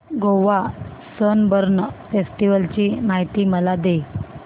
Goa Sunburn festival ची माहिती मला दे